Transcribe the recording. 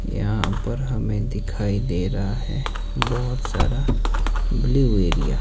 यहां पर हमें दिखाई दे रहा है बहुत सारा ब्लू एरिया ।